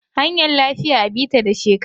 Hanyar lafiya a bi ta da shekara.